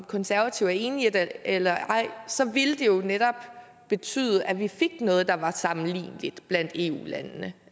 konservative er enige eller ej så ville det jo netop betyde at vi fik noget der var sammenligneligt blandt eu landene